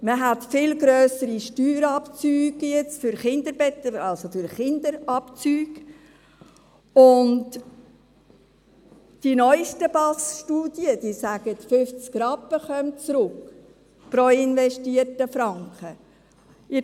Man hat jetzt viel grössere Steuerabzüge für Kinder, und die neusten Studien des Büros für arbeits- und sozialpolitische Studien (BASS) besagen, pro investierten Franken kämen 50 Rappen zurück.